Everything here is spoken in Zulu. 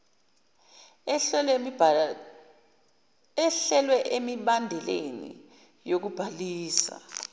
ehlelwe emibandeleni yokubhalisa